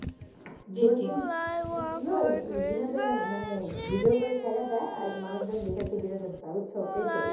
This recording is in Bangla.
কাজ গুলোই ওই বিনোদনের, মানে video করে ছাইড়া দেয় আর মানুষজন দেখে কি বিনোদনের উৎসাহ এইটাই